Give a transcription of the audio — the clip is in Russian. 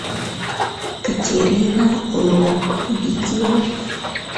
катерина ло видео